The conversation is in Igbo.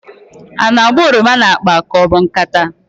A na-agba oroma n'akpa ka ọ bụ nkata?